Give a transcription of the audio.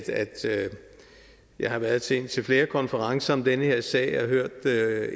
jeg har været til indtil flere konferencer om den her sag og hørt